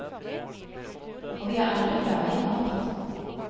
Og vi er alle glade i mat.